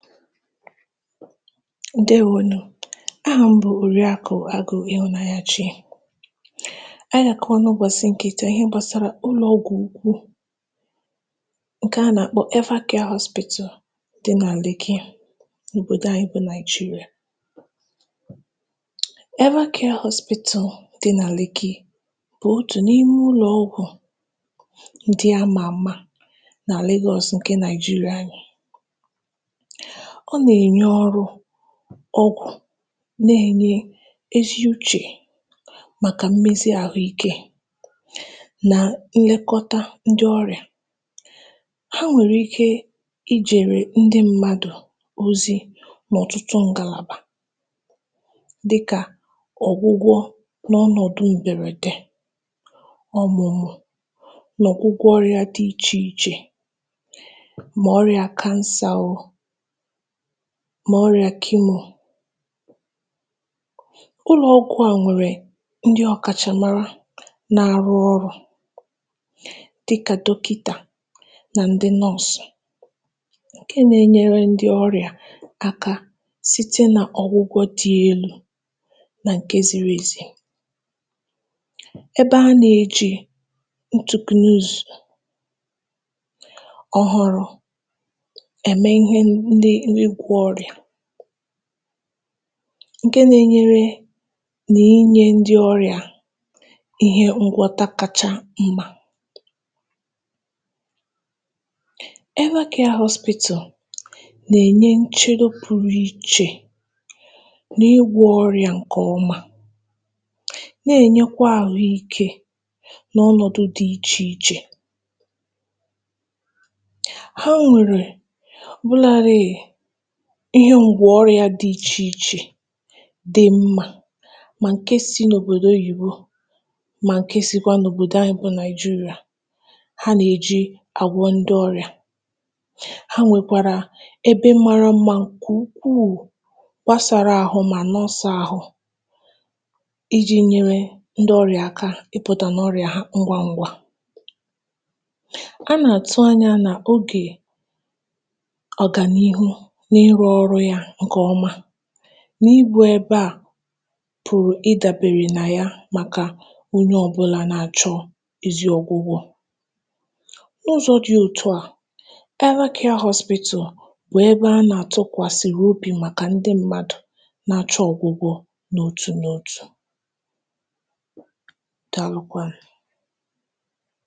ǹdèwo nụ̀. aha m bụ̀ Òriàkụ̀ Agụ̄ Ihụ̀nanyachi. anyị gà àkọwa n’ụbọ̀sị̀ tà ihe gbàsara ụlọ̀ ọgwụ ukwu, ǹkẹ a nà àkpọ Evercare Hospital dị nà Lekki, n’òbòdo anyị bụ Naị̀jịrị̀à. Evercare Hospital, dị nà Lekki, bụ̀ otù n’ime ụlọ̀ ọgwụ̀ ndị a mà àma nà Lagos ndị Naị̀jịrị̀à. ọ nà ènye ọrụ̄, ọgwụ̀, nà ènye ezi uchè màkà mmezi ahụ ikē, nà nlẹkọta ndị ọrị̀à. ha nwèrè ike I jèrè ndị mmadù ozi n’ọ̀tụtụ ngàlàbà, dị kà ọ̀gwụgwọ n’ọnọ̀dụ m̀bẹ̀rẹ̀dẹ ọ̀mụ̀mụ̀, nà ọ̀gwụgwọ ọrịā dị ichè ichè, mà ọrịà cancer o, mà ọrịà chemo. ụlọ ọgwụ̄ à nwèrè ndị ọ̀kàchàmara na arụ ọrụ̄, dị kà dọkịtà, nan dị nọọ̀sụ̀, ǹke na e nyere ndị ọrị̀à aka site nà ọ̀gwụgwọ dị elū, nà ǹke ziri èzi. ẹbẹ a nà ejì ntù glues ọhụrụ̄, ẹ̀mẹ ịhẹ ndị ịgwọ̄ ọrị̀à, ǹke na enyere nà inyē ndị ịgwọ̄ ọrị̀à ịhẹ ngwọkatacha mmā. Evercare Hospital nà ènye nchedo pụrụ ichè, n’ịgwọ̄ ọrịà ǹkẹ̀ ọma, nà ènyẹkwa àhụ ikē, n’ọnọ̀dụ dị ichè ichè. ha nwèrè ọ̀bụladị ịhẹ ǹgwọ̀ ọrịā dị ichè ichè dị mmā, mà ǹke si n’òbòdò oyìbo, mà ǹke sịkwa n’òbòdo anyị bụ Naị̀jịrị̀à ha nà èji àgwọ ndị ọrị̀à. ha nwèkwàrà ebe mara mmā ǹkè ukwù, gbasara ahụ mà nọsàa ahụ, ijī nyẹrẹ ndị ọrị̀à aka ị pụ̀tà n’ọrị̀à ngwa ngwa. a nà àtụ anyā nà ogè ọ̀gànịhụ n’ịrụ̄ ọrụ ya ǹkẹ̀ ọma, na ịgbā ẹbẹ à pụ̀rụ nà ịdàbè nà ya, màkà onye ọbụla na achọ ezi ọgwụgwọ. n’ụzọ̄ dị òtụ à, Evercare Hospital bụ̀ ẹbẹ a tụkwàsị̀rị̀ obì màkà ndị mmadu na achọ ọ̀gwụgwọ n’otù n’otù. Daalụ kwanụ̀.